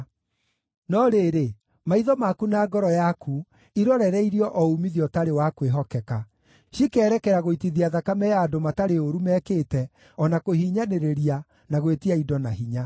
“No rĩrĩ, maitho maku na ngoro yaku irorereirio o uumithio ũtarĩ wa kwĩhokeka, cikeerekera gũitithia thakame ya andũ matarĩ ũũru mekĩte, o na kũhinyanĩrĩria, na gwĩtia indo na hinya.”